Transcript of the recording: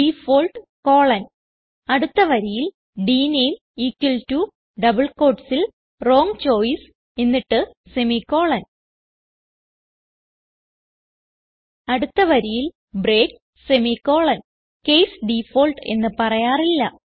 default colon അടുത്ത വരിയിൽ ഡ്നേം ഇക്വൽ ടോ ഡബിൾ quotesൽ വ്രോങ് ചോയ്സ് എന്നിട്ട് സെമിക്കോളൻ അടുത്ത വരിയിൽ ബ്രേക്ക് സെമിക്കോളൻ കേസ് ഡിഫോൾട്ട് എന്ന് പറയാറില്ല